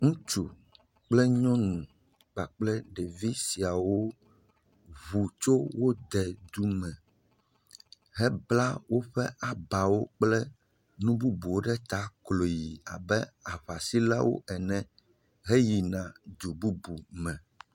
Ŋutsu kple nyɔnu kpakple ɖevi siawo ŋu tso wode dume, hekpla woƒe abawo kple nu bubuwo ɖe ta kloyi e aŋasilawo ene heyina du bubu me.